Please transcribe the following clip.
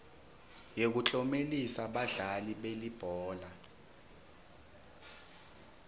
yekuklomelisa badlali belibhola